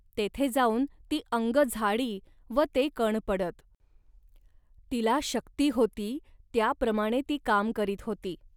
तेथे जाऊन ती अंग झाडी व ते कण पडत. तिला शक्ती होती, त्याप्रमाणे ती काम करीत होती